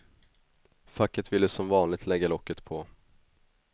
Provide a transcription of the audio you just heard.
Facket ville som vanligt lägga locket på.